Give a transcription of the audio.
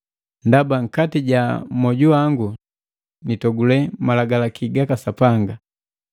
Ndaba nkati ja mojuwangu nitogule Malagalaki gaka Sapanga.